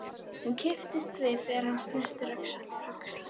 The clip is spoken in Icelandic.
Hún kippist við þegar hann snertir öxl hennar.